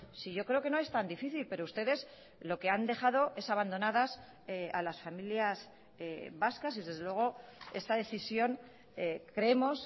si yo creo que no es tan difícil pero ustedes lo que han dejado es abandonadas a las familias vascas y desde luego esta decisión creemos